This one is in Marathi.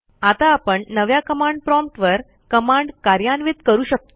आता आपण नव्या कमांड प्रॉम्प्ट वर कमांड कार्यान्वित करू शकतो